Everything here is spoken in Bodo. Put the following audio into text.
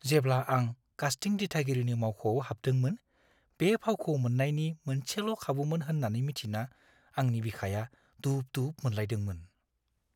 जेब्ला आं कास्टिं दिथागिरिनि मावख'आव हाबदोंमोन, बे फावखौ मोन्नायनि मोनसेल' खाबुमोन होन्नानै मिथिना आंनि बिखाया दुब-दुब मोनलायदोंमोन।